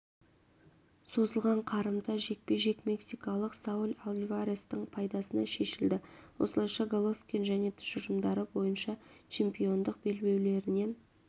созылған қарымта жекпе-жек мексикалық сауль альварестің пайдасына шешілді осылайша головкин және тұжырымдары бойынша чемпиондық белбеулерінен